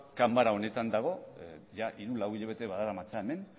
ganbara honetan dago hiru lau hilabete badaramatza hemen